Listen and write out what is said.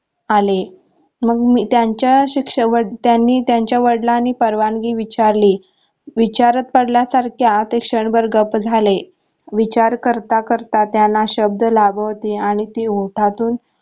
आले मग मी त्यांचा शिक्षण त्यांनी त्यांच्या वडिलांनी परवानगी विचारली विचारात पडल्या सारख्या ते क्षणभर गप्प झाले विचार करता करता त्यांना शब्द लागू होती आणि ती ओठातून